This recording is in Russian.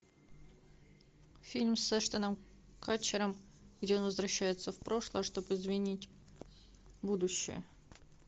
фильм с эштоном катчером где он возвращается в прошлое чтобы изменить будущее